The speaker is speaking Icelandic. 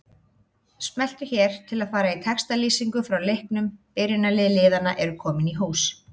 Smelltu hér til að fara í textalýsingu frá leiknum Byrjunarlið liðanna eru komin í hús.